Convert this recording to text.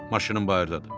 Maşınım bayırdadır.